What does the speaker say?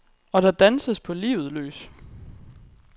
Og der danses på livet løs.